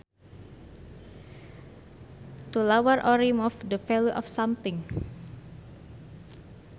To lower or remove the value of something